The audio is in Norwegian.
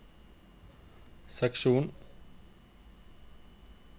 seksjon